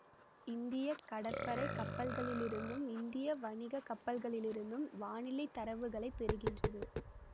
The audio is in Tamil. இந்திய கடற்படை கப்பல்களிலிருந்தும் இந்திய வணிக கப்பல்களிலிருந்தும் வானிலை தரவுகளைப் பெறுகின்றது